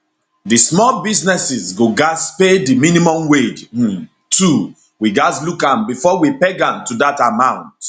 di small businesses go gatz pay di minimum wage um too we gatz look am bifor we peg am to dat amount